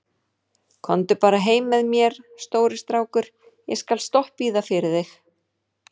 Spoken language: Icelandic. Komdu bara heim með mér, stóri strákur, ég skal stoppa í það fyrir þig.